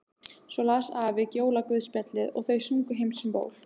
Svo las afi jólaguðspjallið og þau sungu Heims um ból.